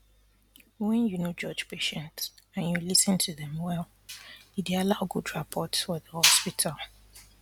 wen you no judge patients and you lis ten to dem well e dey allow good rapport for the hospital